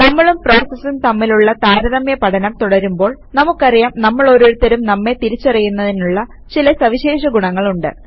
നമ്മളും പ്രോസസസും തമ്മിലുള്ള താരതമ്യ പഠനം തുടരുമ്പോൾ നമുക്കറിയാം നമ്മളോരുത്തർക്കും നമ്മെ തിരിച്ചറിയുന്നതിനുള്ള ചില സവിശേഷ ഗുണങ്ങളുണ്ട്